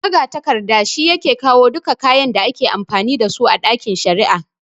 Magatakarda shi yake kawo duka kayan da ake amfani dasu a ɗakin shari'a